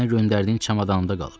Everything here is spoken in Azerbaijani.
Mənə göndərdiyin çamada qalıb.